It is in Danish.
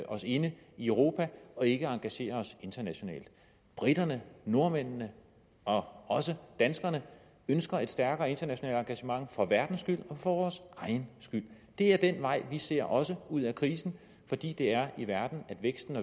os inde i europa og ikke engagerer os internationalt briterne nordmændene og også danskerne ønsker et stærkere internationalt engagement for verdens skyld og for vores egen skyld det er den vej vi ser også ud af krisen fordi det er i verden at væksten